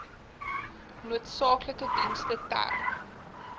noodsaaklike dienste ter